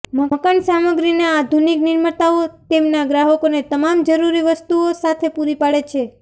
મકાન સામગ્રીના આધુનિક નિર્માતાઓ તેમના ગ્રાહકોને તમામ જરૂરી વસ્તુઓ સાથે પૂરી પાડે છે